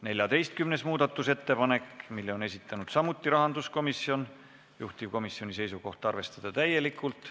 14. muudatusettepanek, mille on esitanud samuti rahanduskomisjon, juhtivkomisjoni seisukoht: arvestada täielikult.